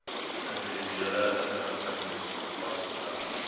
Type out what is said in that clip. individuele inrigtings vasgestel